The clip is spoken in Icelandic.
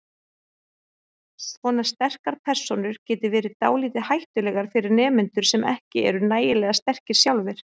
Svona sterkar persónur geti verið dálítið hættulegar fyrir nemendur sem ekki eru nægilega sterkir sjálfir.